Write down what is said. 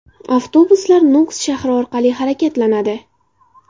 Avtobuslar Nukus shahri orqali harakatlanadi.